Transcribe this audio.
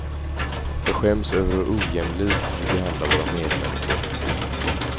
Jag skäms över hur ojämlikt vi behandlar våra medmänniskor.